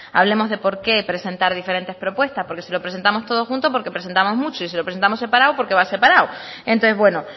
hablemos de por qué presentar diferentes propuestas porque si lo presentamos todo junto porque presentamos mucho y si lo presentamos separado porque va separado entonces bueno